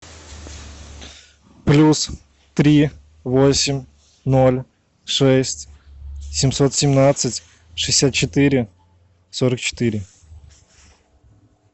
плюс три восемь ноль шесть семьсот семнадцать шестьдесят четыре сорок четыре